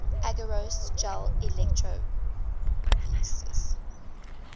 agarose gel electrophoresis